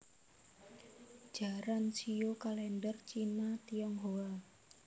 Jaran shio kalèndher Cina Tionghoa